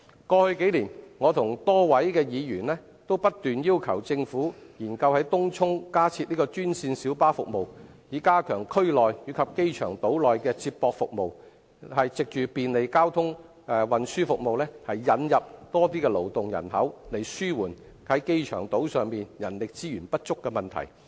過去數年，我與多位議員均不斷要求政府研究在東涌加設專線小巴服務，以加強區內及機場島內的接駁服務，藉便利的交通運輸服務，引入更多勞動人口，紓緩機場島上人力資源不足的問題。